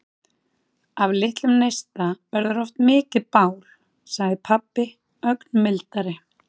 Af litlum neista verður oft mikið bál, sagði pabbi ögn mildari.